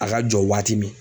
A ka jɔ waati min.